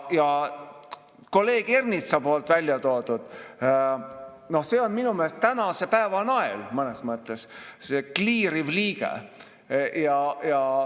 Ja kolleeg Ernitsa poolt väljatoodu – noh, see on minu meelest tänase päeva nael mõnes mõttes, see "kliiriv liige".